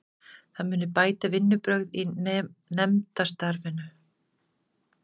Það muni bæta vinnubrögð í nefndastarfinu